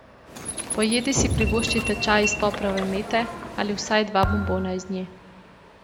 Po jedi si privoščite čaj iz poprove mete ali vsaj dva bombona iz nje.